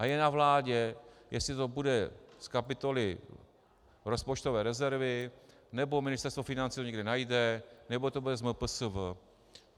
A je na vládě, jestli to bude z kapitoly rozpočtové rezervy, nebo Ministerstvo financí to někde najde, nebo to bude z MPSV.